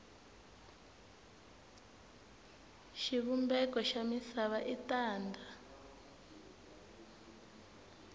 xivumbeko xa misava i tanda